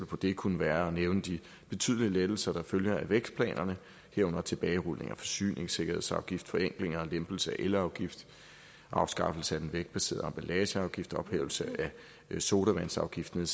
på det kunne være at nævne de betydelige lettelser der følger af vækstplanerne herunder tilbagerulning af forsyningssikkerhedsafgift forenkling og lempelse af elafgift afskaffelse af den vægtbaserede emballageafgift ophævelse af sodavandsafgiften